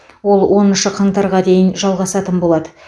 ол оныншы қаңтарға дейін жалғасатын болады